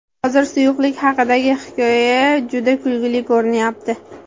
Hozir suyuqlik haqidagi hikoya juda kulgili ko‘rinyapti.